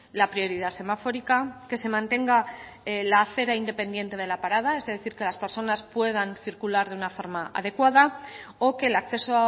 la prioridad semafórica que se mantenga la acera independiente de la parada es decir que las personas puedan circular de una forma adecuada o que el acceso